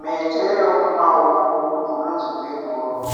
Mhete yemumaoko inonzi bhenguro,